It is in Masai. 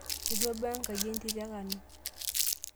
Etu abaya enkaji entito e kano.